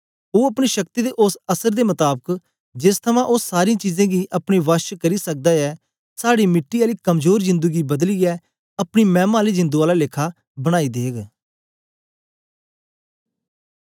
ओ अपनी शक्ति दे ओस असर दे मताबक जेस थमां ओ सारीं चीजें गी अपने वश च करी सकदा ऐ साड़ी मिट्टी आली कमजोर जिंदु गी बदलीयै अपनी मैमा आली जिंदु आला लेखा बनाई देग